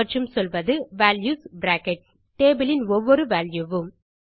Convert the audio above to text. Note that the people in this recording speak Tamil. மற்றும் சொல்வது வால்யூஸ் பிராக்கெட்ஸ் tableஇன் ஒவ்வொரு வால்யூ வும்